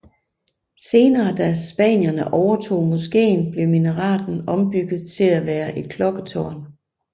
Senere da spanierne overtog moskeen blev Minareten ombygget til til at være et klokketårn